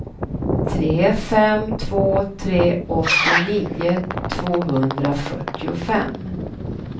tre fem två tre åttionio tvåhundrafyrtiofem